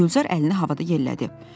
Gülzar əlini havada yellədi.